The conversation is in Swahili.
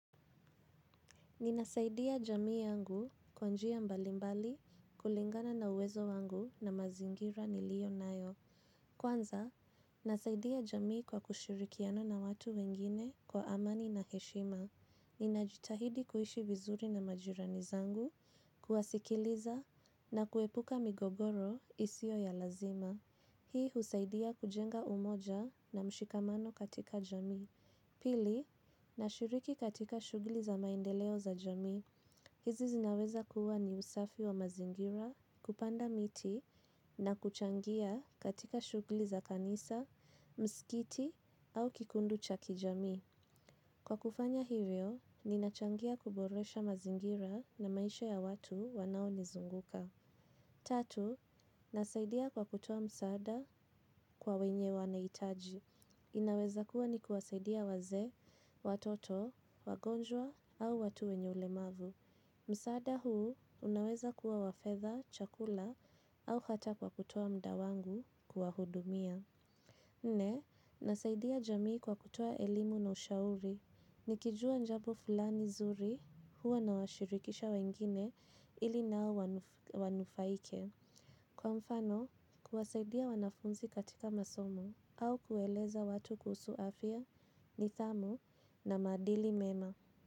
Ninasaidia jamii yangu kwa njia mbalimbali kulingana na uwezo wangu na mazingira niliyo nayo. Kwanza, nasaidia jamii kwa kushirikiana na watu wengine kwa amani na heshima. Ninajitahidi kuhishi vizuri na majirani zangu, kuwasikiliza na kuepuka migogoro isio ya lazima. Hii husaidia kujenga umoja na mshikamano katika jamii. Pili, nashiriki katika shugli za maendeleo za jami. Hizi zinaweza kuwa ni usafi wa mazingira kupanda miti na kuchangia katika shugli za kanisa, mskiti au kikundu cha kijami. Kwa kufanya hivyo, ninachangia kuboresha mazingira na maisha ya watu wanao nizunguka. Tatu, nasaidia kwa kutoa msaada kwa wenye wanaitaji. Inaweza kuwa ni kuwasaidia waze, watoto, wagonjwa au watu wenye ulemavu. Msaada huu unaweza kuwa wafetha, chakula au hata kwa kutoa muda wangu kuwahudumia. Ne, nasaidia jamii kwa kutoa elimu na ushauri. Nikijua njabu fulani zuri huwa nawashirikisha wengine ili nao wanufaike. Kwa mfano, kuwasaidia wanafunzi katika masomo au kueleza watu kuhusu afia nidhamu na madili mema.